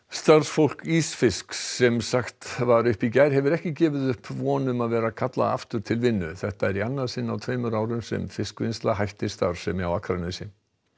starfsfólk ísfisks sem var sagt upp í gær hefur ekki gefið upp von um að vera kallað aftur til vinnu þetta er í annað sinn á tveimur árum sem fiskvinnsla hættir starfsemi á Akranesi